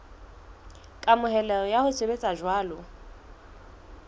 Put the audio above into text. kamohelo ya ho sebetsa jwalo